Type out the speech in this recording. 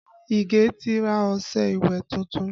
Ige ti ra ọṣẹ ìwẹ̀ tuntun